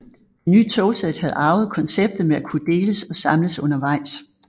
Det nye togsæt havde arvet konceptet med at kunne deles og samles undervejs